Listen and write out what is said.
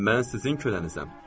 Mən sizin köləmizəm.